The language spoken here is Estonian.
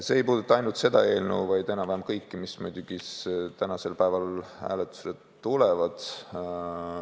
See ei puuduta ainult praegust eelnõu, vaid enam-vähem kõiki, mis täna hääletusele tulevad.